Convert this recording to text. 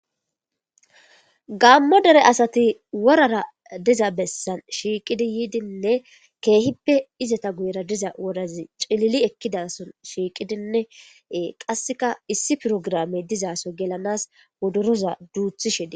gammo dere asati worara diza bessan shiiqidi yiidinne keehippe izata guyra diza wodazi cilili ekkidason shiiqidinne qasseka issi pirogramey dizaso gelanas wodoroza duuthishe de